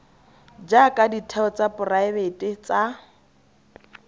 jaaka ditheo tsa poraebete tsa